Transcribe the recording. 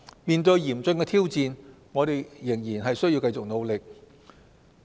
面對嚴峻的挑戰，我們仍須繼續努力。